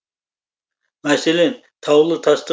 мәселен таулы тасты